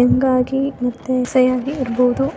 Young ಆಗಿ ಮತ್ತೆ ಇರ್ಬೋದು.]